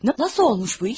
Nasıl olmuş bu iş?